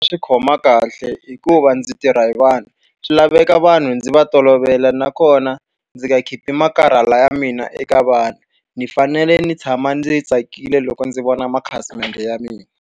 Swi khoma kahle hikuva ndzi tirha hi vanhu. Swi laveka vanhu ndzi va tolovela nakona ndzi nga khipi makarhala ya mina eka vanhu. Ndzi fanele ndzi tshama ndzi tsakile loko ndzi vona makhasimende ya mina.